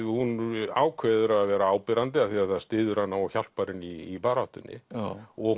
hún ákveður að vera áberandi af því að það styður hana og hjálpar henni í baráttunni og